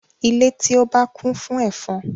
Ile ti o ba kun fun efon